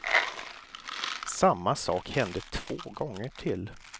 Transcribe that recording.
Samma sak hände två gånger till.